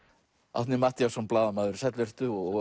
Árni Matthíasson blaðamaður sæll vertu og